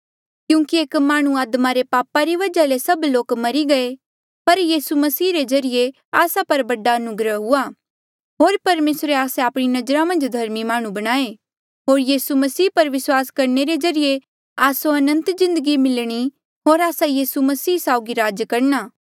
क्यूंकि एक माह्णुं आदमा रे पाप री वजहा ले सभ लोक मरी गये पर यीसू मसीह रे ज्रीए आस्सा पर बौह्त बडा अनुग्रह हुआ होर परमेसरे आस्से आपणी नजरा मन्झ धर्मी माह्णुं बणाए होर यीसू मसीह पर विस्वास करणे रे ज्रीए आस्सो अनंत जिन्दगी मिलणी होर आस्सा यीसू मसीह साउगी राज करणा